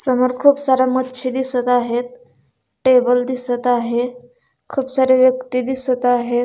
समोर खूप साऱ्या मच्छी दिसत आहेत टेबल दिसत आहे खूप सारे व्यक्ति दिसत आहे.